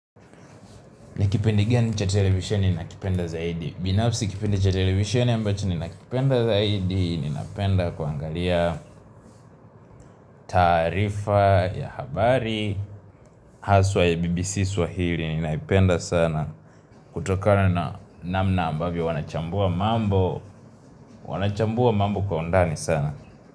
Nikipindi gani cha televisheni nakipenda zaidi. Binafsi kipindi cha televisioni ambacho ni na kipenda zaidi. Ninapenda kwa angalia taarifa ya habari. Haswa ya BBC swahili. Ninaipenda sana. Kutokana na namna ambavyo. Wanachambua mambo. Wanachambua mambo kwa undani sana.